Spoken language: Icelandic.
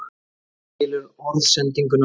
Hann skilur orðsendinguna.